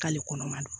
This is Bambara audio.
K'ale kɔnɔma don